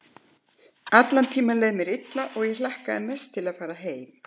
Allan tímann leið mér illa og ég hlakkaði mest til að fara heim.